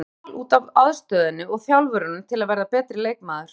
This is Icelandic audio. Ég valdi Val út af aðstöðunni og þjálfurunum til að verða betri leikmaður.